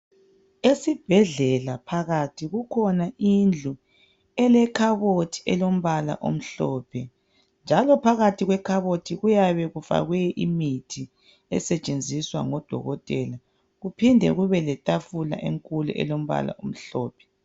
Esibhedlela phakathi kukhona indlu elekhabothi elombala omhlophe njalo phakathi kwekhabothi kuyabe kufakwe imithi esetshenziswa ngodokotela kuphinde kube letafula enkulu elombala omhlophe.